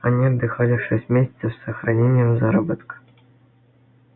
они отдыхали шесть месяцев с сохранением заработка